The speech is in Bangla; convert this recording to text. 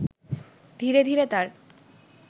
ধীরে ধীরে তার